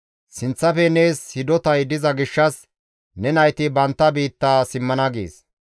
Sinththafe nees hidotay diza gishshas ne nayti bantta biitta simmana» gees.